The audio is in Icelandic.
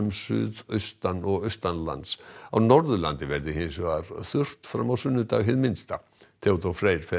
suðaustan og á Norðurlandi verði hins vegar þurrt fram á sunnudag hið minnsta Theodór Freyr fer